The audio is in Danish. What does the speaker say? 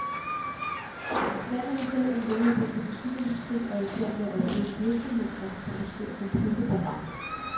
Landet har selv en veludviklet musikindustri og er i færd med at opbygge virksomheder, der skal producere computerprogrammer.